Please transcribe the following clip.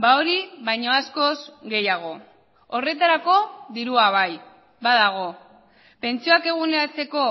hori baino askoz gehiago horretarako dirua bai badago pentsioak eguneratzeko